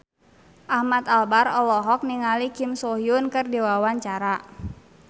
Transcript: Ahmad Albar olohok ningali Kim So Hyun keur diwawancara